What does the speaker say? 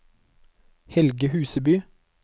Helge Huseby